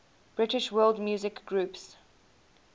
british world music groups